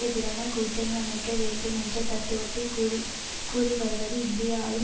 எதிரான கூட்டணி அமைக்க வேண்டுமென்ற தத்துவத்தை கூறிகூறிவருவது இந்திய ஆளும்